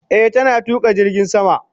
Eh, tana tuka jirgin sama.